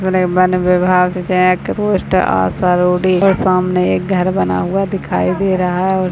one विभाग check post Asharodi के सामने एक घर बना हुआ दिखाई दे रहा है और --